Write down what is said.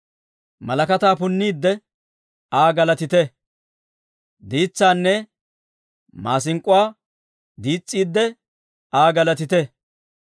Malakataa punniidde, Aa galatite; Diitsaanne maasink'k'uwaa diis's'iidde, Aa galatite.